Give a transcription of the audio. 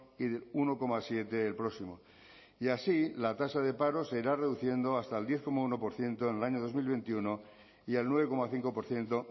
y del uno coma siete el próximo y así la tasa de paro se irá reduciendo hasta el diez coma uno por ciento en el año dos mil veintiuno y al nueve coma cinco por ciento